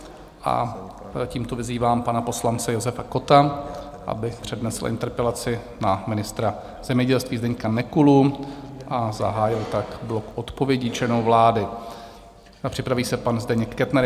A tímto vyzývám pana poslance Josefa Kotta, aby přednesl interpelaci na ministra zemědělství Zdeňka Nekulu a zahájil tak blok odpovědí členů vlády, a připraví se pan Zdeněk Kettner.